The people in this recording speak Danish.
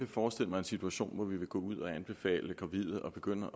forestille mig en situation hvor vi vil gå ud og anbefale gravide at begynde